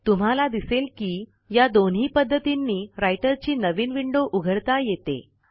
तुम्हाला दिसेल की या दोन्ही पध्दतींनी रायटर ची नवीन विंडो उघडता येते